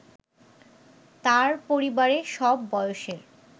তার পরিবারে সব বয়সের